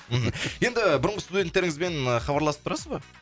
мхм енді бұрынғы студенттеріңізбен хабарласып тұрасыз ба